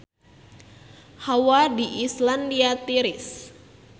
Hawa di Islandia tiris